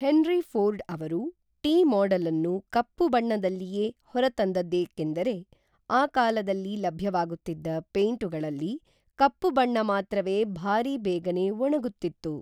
henry Ford ಅವರು T ಮಾಡೆಲನ್ನು ಕಪ್ಪು ಬಣ್ಣದಲ್ಲಿಯೇ ಹೊರತಂದದ್ದೇಕೆಂದರೆ ಆ ಕಾಲದಲ್ಲಿ ಲಭ್ಯವಾಗುತ್ತಿದ್ದ ಪೈಂಟುಗಳಲ್ಲಿ ಕಪ್ಪು ಬಣ್ಣ ಮಾತ್ರವೇ ಭಾರಿ ಬೇಗನೆ ಒಣಗುತ್ತಿತ್ತು